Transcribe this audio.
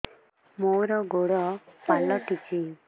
ମୋର ଗୋଡ଼ ପାଲଟିଛି